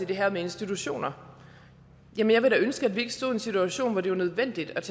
det her med institutioner ville jeg da ønske at vi ikke stod i en situation hvor det var nødvendigt at